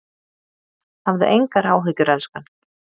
Hafðu engar áhyggjur elskan.